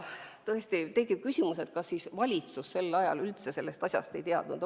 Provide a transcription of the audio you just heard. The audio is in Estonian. Tõesti tekib küsimus, kas valitsus sel ajal üldse sellest asjast ei teadnud.